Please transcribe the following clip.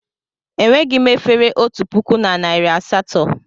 Enweghị m efere otu puku na narị asatọ.